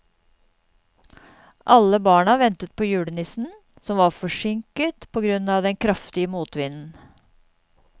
Alle barna ventet på julenissen, som var forsinket på grunn av den kraftige motvinden.